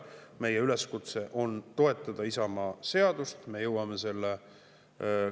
Meie üleskutse on toetada Isamaa seadus.